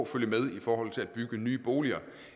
følge med i forhold til at bygge nye boliger